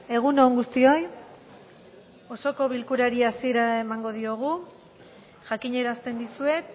egun on guztioi osoko bilkurari hasiera emango diogu jakinarazten dizuet